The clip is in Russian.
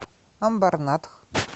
амбарнатх